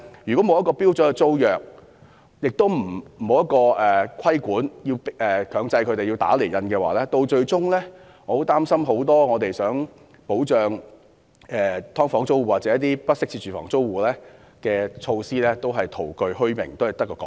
如果沒有標準租約，又沒有強制規定打釐印，我擔心擬保障"劏房"租戶或"不適切住房"租戶的措施，最終只會徒具虛名，淪為空談。